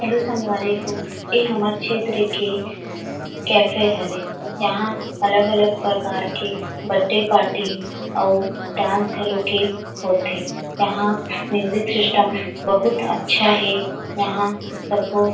hello संगवारी हो ऐ हमर क्षेत्र के कैफ़े हरे यहाँ अलग- अलग प्रकार के बर्थडे पार्टी औउ डांस घलोक होत हे वहाँ म्यूजिक सिस्टम बहुत अच्छा हे यहाँ सबो --